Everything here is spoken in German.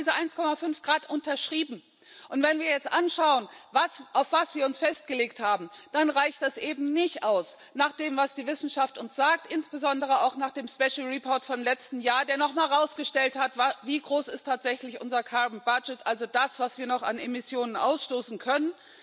Wir haben diese 1,5 Grad unterschrieben, und wenn wir jetzt anschauen, auf was wir uns festgelegt haben, dann reicht das eben nicht aus, nach dem, was die Wissenschaft uns sagt, insbesondere auch nach dem Special Report vom letzten Jahr, der noch mal herausgestellt hat, wie groß unser carbon budget tatsächlich ist, also das, was wir noch an Emissionen ausstoßen können.